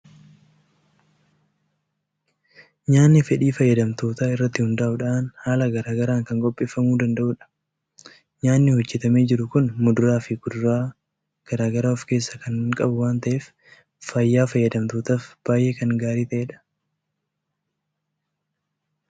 Nyaatni fedhii fayyadamtootaa irratti hundaa'uun haala garaa garaan kan qopheeffamuu danda'udha. Nyaatni hojjetamee jiru kun muduraa fi kuduraa garaa garaa of keessaa kan waan ta'eef, fayyaa fayyadamtootaaf baay'ee kan gaarii ta'edha.